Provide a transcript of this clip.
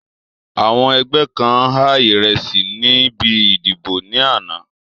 Àwọn ẹgbẹ́ kan há ìrẹsí níbi ìdìbò ní àná